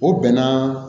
O bɛnna